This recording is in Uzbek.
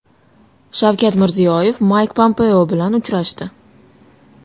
Shavkat Mirziyoyev Mayk Pompeo bilan uchrashdi.